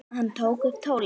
Hann tók upp tólið.